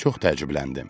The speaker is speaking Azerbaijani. Çox təəccübləndim.